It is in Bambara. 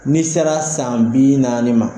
N'i sera san bi naani ma,